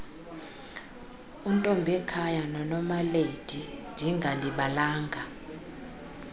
untombekhaya nonomalady ndingalibalanga